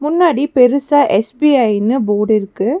முன்னாடி பெருசா எஸ்_பி_ஐனு போர்டு இருக்கு.